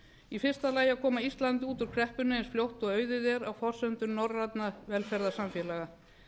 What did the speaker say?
í fyrsta lagi að koma ísland út úr kreppunni eins fljótt og auðið er á forsendum norrænna velferðarsamfélaga